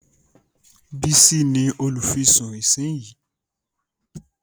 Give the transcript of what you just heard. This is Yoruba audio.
Bísí ní olùfisùn ìsínyìí